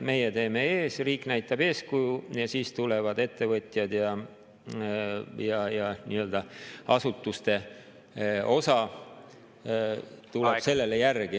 Meie teeme ees, riik näitab eeskuju, ja siis tulevad ettevõtjad ja nii-öelda asutuste osa tuleb sellele järgi.